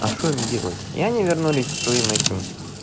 а что им делать и они вернулись к своим этим